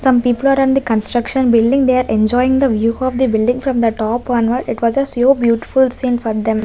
some people are in the construction building they are enjoying the view of the building from the top onward it was a so beautiful scene for them.